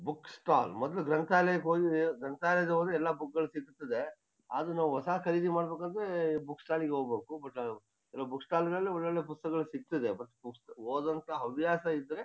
book stall ಮೊದ್ಲು ಗ್ರಂಥಾಲಯಕ್ ಹೋಗಿ ಗ್ರಂಥಾಲಯ-- ಹೋದ್ರೆ ಎಲ್ಲ ಬುಕ್ ಗಳ್ ಸಿಕ್ತಿರ್ತದೆಆದ್ರು ನಾವ್ ಹೊಸ ಖರೀದಿ ಮಾಡ್ಬೇಕಂದ್ರೆ ಬುಕ್ ಸ್ಟಾಲ್ಇ ಗೆ ಹೋಗ್ಬೇಕು ಬಟ್ ಅಹ್ ಕೆಲು ಬುಕ್ ಸ್ಟಾಲ್ ಗಳಲ್ ಒಳ್ಳೊಳ್ಳೆ ಪುಸ್ತಕಗಳ್ ಸಿಗ್ತದೆ ಬಟ್ ಪುಸ್ತ್-- ಓದೋ ಅಂತ ಹವ್ಯಾಸ ಇದ್ರೆ--